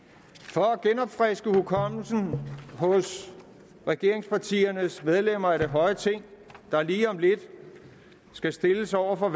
for at genopfriske hukommelsen hos regeringspartiernes medlemmer af det høje ting der lige om lidt skal stilles over for